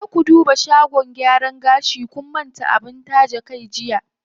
Je ku duba shagon gyaran gashi, kun manta abin taje kai jiya.